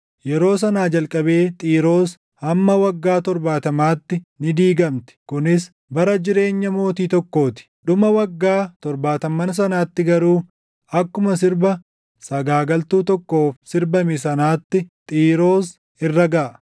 Yeroo sanaa jalqabee Xiiroos hamma waggaa torbaatamaatti ni dagatamti; kunis bara jireenya mootii tokkoo ti. Dhuma waggaa torbaatamman sanaatti garuu akkuma sirba sagaagaltuu tokkoof sirbame sanaatti Xiiroos irra gaʼa: